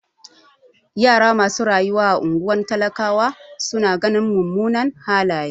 Yara masu rayuwa a ungwar talakawa su na ganin mumunan halaye.